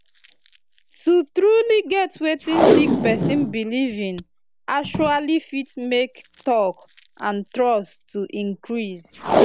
to truly get wetin sick pesin belief in actually fit make talk and trust to increase